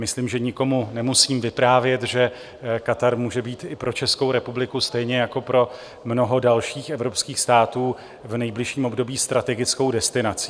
Myslím, že nikomu nemusím vyprávět, že Katar může být i pro Českou republiku stejně jako pro mnoho dalších evropských států v nejbližším období strategickou destinací.